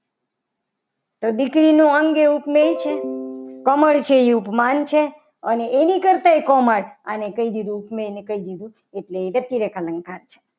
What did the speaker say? તો દીકરીનું અંગ એ ઉપમેય છે. કમળ છે એ ઉપમાન છે. અને એની કરતા પણ કોમળ કહી દીધું. ઉપમેય એને એટલે એ વ્યક્તિને અલંકાર છે.